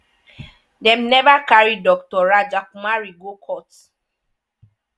dem never carry dr rajakumari go court.